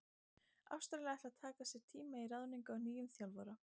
Ástralir ætla að taka sér tíma í ráðningu á nýjum þjálfara.